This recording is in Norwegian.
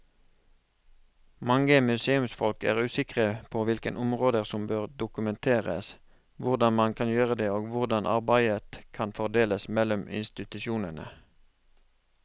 Mange museumsfolk er usikre på hvilke områder som bør dokumenteres, hvordan man kan gjøre det og hvordan arbeidet kan fordeles mellom institusjonene.